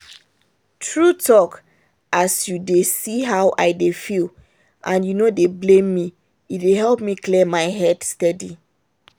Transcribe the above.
true talk as you dey see how i dey feel and you no dey blame me e dey help me clear my head steady.